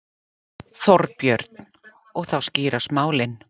Þorbjörn: Og þá skýrast málin?